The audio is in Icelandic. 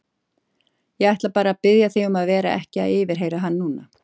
Ég ætla bara að biðja þig um að vera ekki að yfirheyra hann núna.